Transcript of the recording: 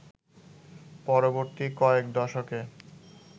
পরবর্তী কয়েক দশকে